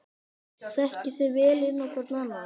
Þekkið þið vel inn á hvorn annan?